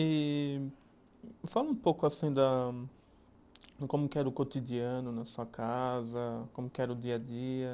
E fala um pouco, assim da, de como que era o cotidiano na sua casa, como que era o dia a dia.